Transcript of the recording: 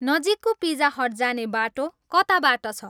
नजिकको Pizza Hut जाने बाटो कताबाट छ